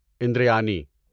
اندریانی